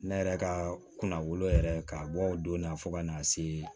Ne yɛrɛ ka kunna wolo yɛrɛ ka bɔ o donna fo ka n'a se